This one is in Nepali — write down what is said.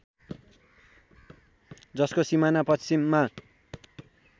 जसको सिमाना पश्चिममा